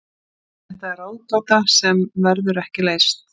Þetta er ráðgáta sem verður ekki leyst.